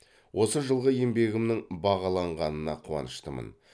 осы жылғы еңбегімнің бағаланғанына қуаныштымын